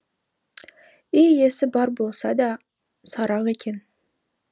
үй иесі бар болса да сараң екен